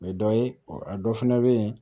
O ye dɔ ye a dɔ fana bɛ yen